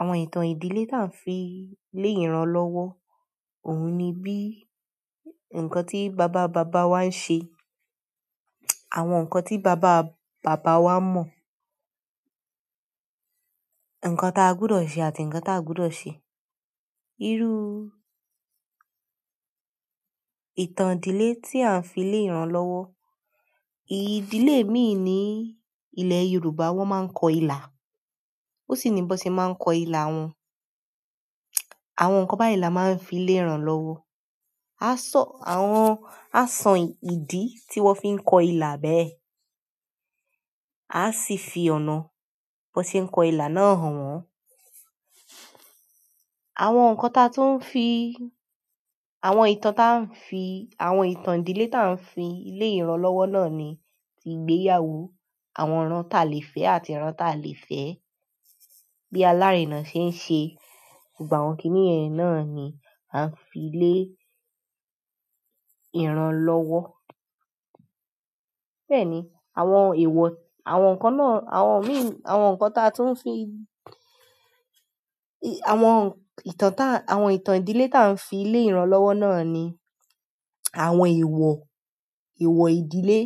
Àwọn ìtàn ìdílé táa ń fi lé ìran lọ́wọ́, òun ni bí ǹkan tí bàbá bàbá wá ń ṣe, àwọn ǹkan tí bàbá bàbá wá mọ̀, ǹkan táa gbúdọ̀ ṣe àti ǹkan táa gbúdọ̀ ṣe. Irú ìtàn ìdílé tí à ń fi lé ìran lọ́wọ́. Ìdílé mi ni ilẹ̀ Yorùbá wón máa ń kọ ilà, ó sì ni bọ sẹ̀ máa ń kọ ilà won. Àwọn ǹkan báyìí la máa ń fi lé ìran lọ́wọ́. A san àwọn, a san ìdí tí wón fi ń kọ ilà bẹ́ẹ̀, a sì fi ọ̀nà bọ́ sẹ̀ ń kọ ilà náà hàn wọ́n. Àwọn ǹkan taa tún ń fi, àwọn ìtàn taa ń fi, àwọn ìtàn ìdílé taa ń fi lé ìran lọ́wọ́ náà ni ti ìgbéyàwó, àwọn ẹran ta lè fẹ́ àti ẹran ti a lè fẹ́, bí alárinà ṣe ń ṣe. Gbogbọ́ àwọn kìíní yẹ̀ náà ni a ń fi lé ìran lọ́wọ́. Bẹ́ẹ̀ ni, àwọn èèwọ̀, àwọn ǹkan náà, àwọn mi, àwọn ǹkan taa tún ń fi, àwọn ìtàn taa, àwọn ìtàn ìdílé taa ń fi lé ìran lọ́wọ́ náà ni àwọn èèwọ̀, èèwọ̀ ìdílé.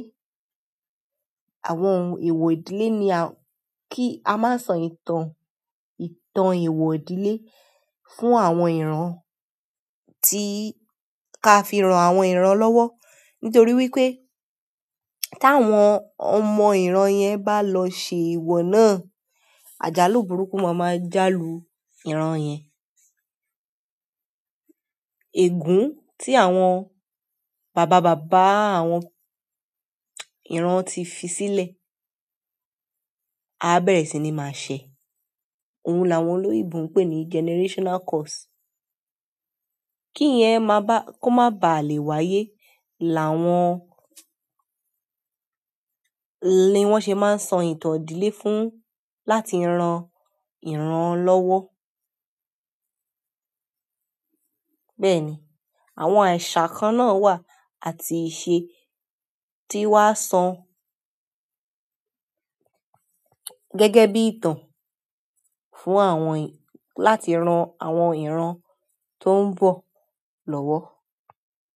Àwọn èèwọ̀ ìdílé ni a kí a máa san ìtàn, ìtàn èèwọ̀ ìdílé fún àwọn ìran tí ka fi ran àwọn ìran lọ́wọ́. Nítorí wípé, tí àwọn ọmọ ìran yẹn bá lọ ṣe èèwọ̀ náà, àjálù burúkú máa máa jálù ìran yẹn. Ègún tí àwọn bàbá bàbá àwọn ìran ti fi sílẹ̀, a bẹ̀rẹ̀ síi ní máa ṣẹ̀. Ohun làwọn olóyèbo ń pè ní generational curse. Kíyẹ́n máa bá, kó má baà lè wáyé làwọn, ní wọ́n ṣe máa ń sọ ìtàn ìdílé fún láti ran ìran lọ́wọ́. Bẹ́ẹ̀ ni, àwọn àìṣà kan náà wà àti ìṣe tí wọ́n á san gẹ́gẹ́ bí ìtàn fún àwọn láti ran àwọn ìran tó ń bọ̀ lọ́wọ́.